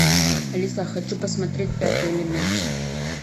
алиса хочу посмотреть пятый элемент